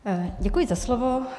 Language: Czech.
Děkuji za slovo.